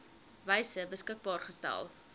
wyse beskikbaar gestel